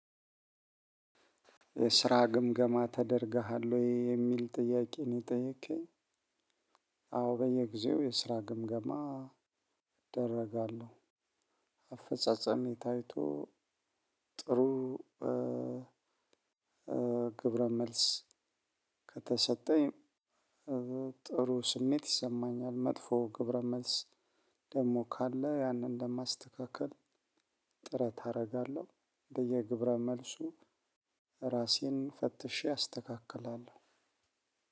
ስራ ግምገማ ተደርገሃል ወይ የሚል ጥያቄ ነው የጠየከኝ? አዎ በየጊዜው የስራ ግምገማ እደረጋለሁ። አፈጻጸሜ ታይቶ ጥሩ። ግብረ መልስ ከተሰጠኝ ጥሩ ስሜት ይሰማኛል። መጥፎ ግብረ መልስ ደግሞ ካለ ያንን እንደማስተካከል ጥረት አደርጋለሁ። በየግብረ መልሱ ራሴን ፈትሼ አስተካክላለሁ።